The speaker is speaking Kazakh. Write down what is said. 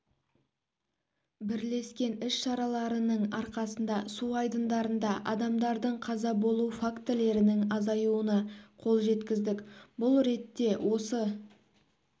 бірлескен іс-шараларының арқасында су айдындарында адамдардың қаза болу фактілерінің азаюына қол жеткіздік бұл ретте осы